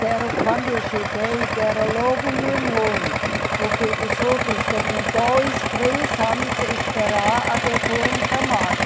Deram, quando eu cheguei, deram logo o meu nome, porque os outros deviam dois, três anos esperar até foram chamado.